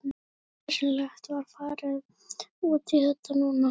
Er nauðsynlegt að fara út í þetta núna?